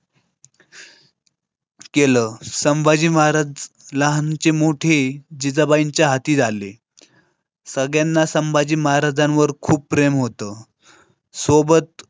केलं संभाजी महाराज लहानाचे मोठे जिजाबाईंच्या हाती झाले. सगळ्यांना संभाजी महाराजांवर खूप प्रेम होतं. सोबत.